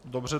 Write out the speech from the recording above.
Dobře.